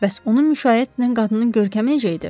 Bəs onu müşayiət edən qadının görkəmi necə idi?